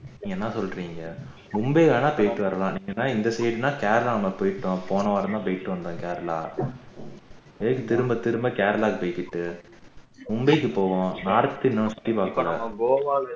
என்ன சொல்றீங்க மும்பை வேணும்னா போயிட்டு வரலாம் இல்லன்னா இந்த side னா கேரளா நம்ம போயிட்டோம் போன வாரம் தான் போயிட்டு வந்தோம் கேரளா எதுக்கு திரும்ப திரும்ப கேரளா போயிட்டு மும்பைக்கு போவோம்